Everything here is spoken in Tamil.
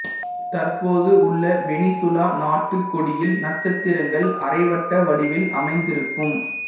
தற்போது உள்ள வெனிசுலா நாட்டு கொடியில் நட்சத்திரங்கள் அரைவட்ட வடிவில் அமைந்திருக்கும்